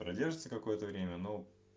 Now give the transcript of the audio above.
продержится какое-то время ну